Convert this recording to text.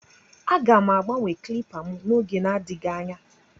Aga m agbanwe caliper m n'oge adịghị anya